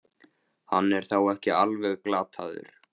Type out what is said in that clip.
Hann er þá ekki alveg glataður!